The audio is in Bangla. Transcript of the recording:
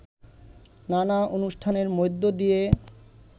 নানা অনুষ্ঠানের মধ্যে দিয়ে